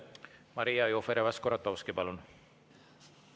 Maria Jufereva-Skuratovski, palun!